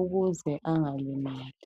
ukuze engalimali.